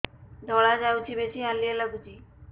ଧଳା ଯାଉଛି ବେଶି ହାଲିଆ ଲାଗୁଚି